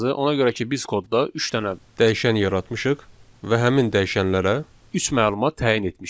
Ona görə ki, biz kodda üç dənə dəyişən yaratmışıq və həmin dəyişənlərə üç məlumat təyin etmişik.